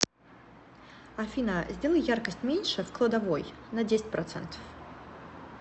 афина сделай яркость меньше в кладовой на десять процентов